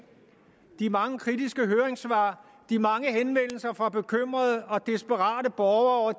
de mange kritiske høringssvar de mange henvendelser fra bekymrede og desperate borgere